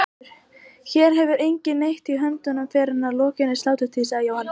Hér hefur enginn neitt í höndunum fyrr en að lokinni sláturtíð, sagði Jóhann.